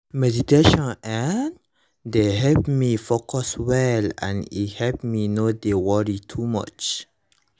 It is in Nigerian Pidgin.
meditation[um]dey help me focus well and e help me no dey worry too much